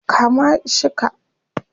kama shi ka!